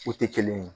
O tɛ kelen ye